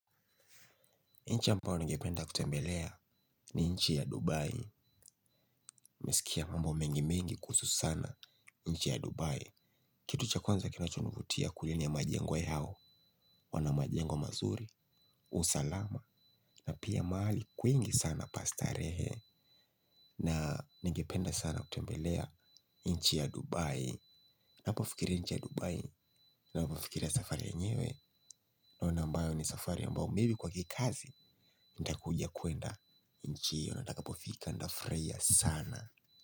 Nchi ambayo ningependa kutembelea ni nchi ya Dubai nimesikia mambo mengi mengi kuhusu sana nchi ya Dubai. Kitu cha kwanza kinachonivutia kule ni ya majengo yao. Wana majengo mazuri, usalama. Na pia maali kwingi sana pa starehe. Na ngependa sana kutembelea nchi ya Dubai. Napofikiri nchi ya Dubai navofikiria safari yenyewe. Naona ambayo ni safari ambao maybe kwa kikazi. Ntakuja kuenda. Nchi hiyo na itakapofika ntafraia sana.